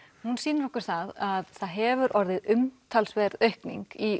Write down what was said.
hún sýnir okkur að það hefur orðið umtalsverð aukning í